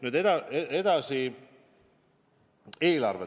Nüüd edasi, eelarve.